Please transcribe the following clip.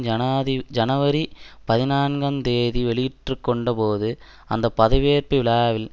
ஜனாதி ஜனவரி பதினான்குந்தேதி வெளியிற்றுக்கொண்டபோது அந்த பதவியேற்பு விழாவில்